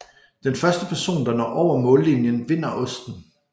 Den første person der når over mållinjen vinder osten